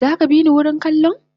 Zaka bini wurin kallon?